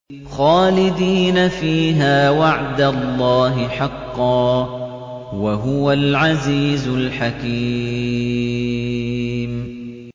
خَالِدِينَ فِيهَا ۖ وَعْدَ اللَّهِ حَقًّا ۚ وَهُوَ الْعَزِيزُ الْحَكِيمُ